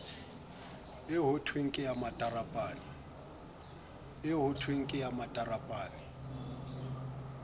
eo hothweng ke ya matarapane